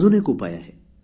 अजून एक उपाय आहे